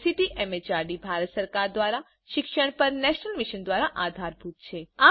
જે ICT MHRD Bharat સરકાર દ્વારા શિક્ષણ પર નેશનલ મિશન દ્વારા આધારભૂત છે